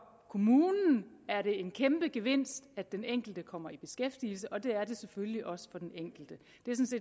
kommunen er det en kæmpe gevinst at den enkelte kommer i beskæftigelse og det er det selvfølgelig også for den enkelte